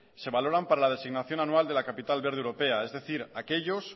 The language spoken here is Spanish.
se valoran para la designación anual de la capital verde europea es decir aquellos